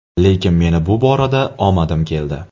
Lekin meni bu borada omadim keldi.